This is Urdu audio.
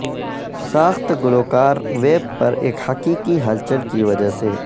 ساخت گلوکار ویب پر ایک حقیقی ہلچل کی وجہ سے